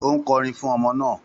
Ó ń kọrin fún ọmọ náà